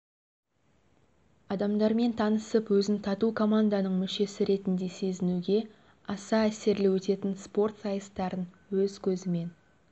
адамдармен танысып өзін тату команданың мүшесі ретінде сезінуге аса әсерлі өтетін спорт сайыстарын өз көзімен